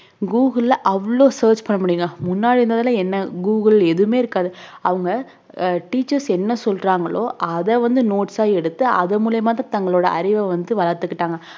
கூகுள்ல அவ்ளோ search பண்ண முடியுங்க முன்னாடி இருந்ததெல்லாம் என்ன கூகுள் எதுவுமே இருக்காது அவங்க அஹ் teachers என்ன சொல்றாங்களோ அத வந்து notes ஆ எடுத்து அது மூலயமா தான் தங்களுடைய அறிவை வந்து வளர்த்துக்கிட்டாங்க